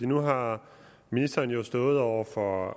nu har ministeren jo stået over for